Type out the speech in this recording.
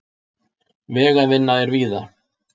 Vegavinna er víða